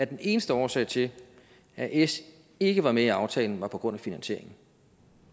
den eneste årsag til at s ikke var med i aftalen var på grund af finansieringen